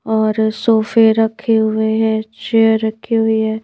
और सोफे रखे हुए हैं चेयर रखी हुई है।